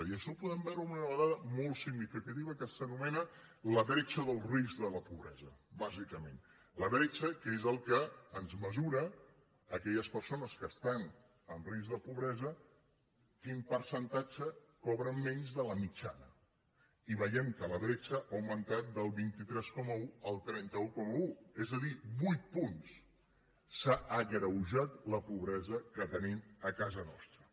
i això ho podem veure amb una dada molt significativa que s’anomena la bretxa del risc de la pobresa bàsicament la bretxa que és el que ens mesura aquelles persones que estan en risc de pobresa quin percentatge cobren menys de la mitjana i veiem que la bretxa ha augmentat del vint tres coma un al trenta un coma un és a dir vuit punts s’ha agreujat la pobresa que tenim a casa nostra